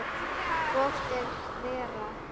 Hvort er verra?